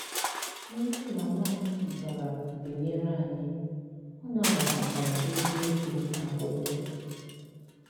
Nne mama m bịara binyere anyị, ọ nabatakwara eziokwu akwụkwo